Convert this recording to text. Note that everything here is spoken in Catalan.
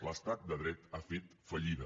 l’estat de dret ha fet fallida